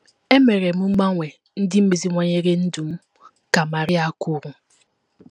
“ Emere m mgbanwe ndị meziwanyere ndụ m, ” ka Maria kwuru.